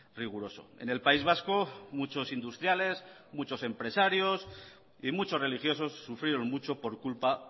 riguroso en el país vasco muchos industriales muchos empresarios y muchos religiosos sufrieron mucho por culpa